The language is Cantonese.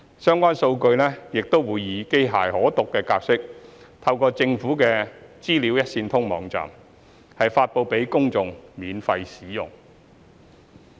相關數據亦會以機器可讀格式透過政府的"資料一線通"網站 data.gov.hk 發布給公眾免費使用。